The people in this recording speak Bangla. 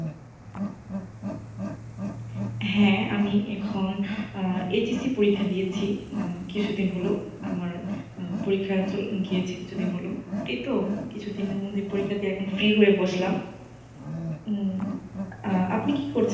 হ্যাঁ আমি এখন আহ SSC পরীক্ষা দিয়েছি এখন। কিছুদিন হল আমার পরীক্ষা গিয়েছে কিছুদিন হল, এই তো কিছুদিনের মধ্যে পরীক্ষা দিয়ে এখন free হয়ে বসলাম উম আহ আপনি কি করছেন?